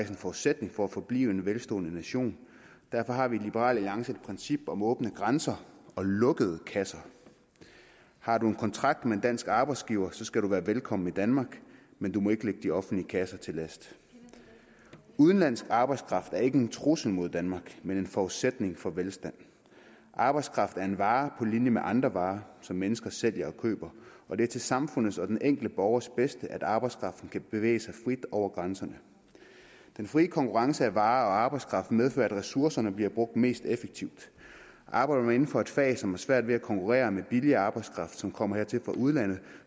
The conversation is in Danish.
en forudsætning for at forblive en velstående nation derfor har vi i liberal alliance et princip om åbne grænser og lukkede kasser har du en kontrakt med en dansk arbejdsgiver skal du være velkommen i danmark men du må ikke ligge de offentlige kasser til last udenlandsk arbejdskraft er ikke en trussel mod danmark men en forudsætning for velstand arbejdskraft er en vare på linje med andre varer som mennesker sælger og køber og det er til samfundets og den enkelte borgers bedste at arbejdskraften kan bevæge sig frit over grænserne den frie konkurrence af varer og arbejdskraft medfører at ressourcerne bliver brugt mest effektivt arbejder man inden for et fag som har svært ved at konkurrere med billig arbejdskraft som kommer hertil fra udlandet